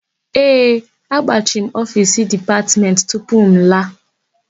Ee, agbachiri m ofiisi Dipatmentị tupu m laa.